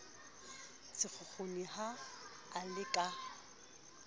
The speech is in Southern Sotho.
sekgukguni ha a le ka